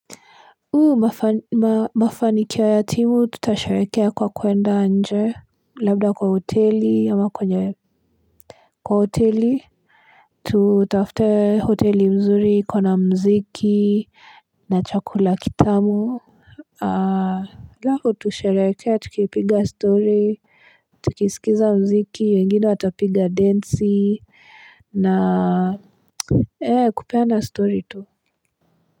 Uu mafanikia yatimu tutasharekea kwa kuenda anje labda kwa hoteli ama kwenye kwa hoteli tutafute hoteli mzuri kwa na mziki na chakula kitamu aa lako tusharekea tukipiga story tukisikiza mziki wengine watapiga dance na ee kupea na story tu.